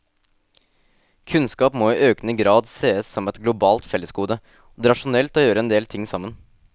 Kunnskap må i økende grad sees som et globalt fellesgode, og det er rasjonelt å gjøre endel ting sammen.